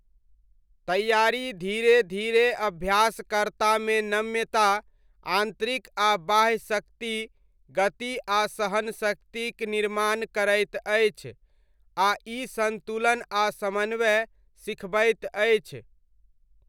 तैआरी धीरे धीरे अभ्यासकर्तामे नम्यता, आन्तरिक आ बाह्य शक्ति, गति आ सहनशक्तिक निर्माण करैत अछि आ ई सन्तुलन आ समन्वय सिखबैत अछि।